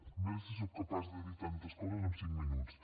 a veure si sóc capaç de dir tantes coses en cinc minuts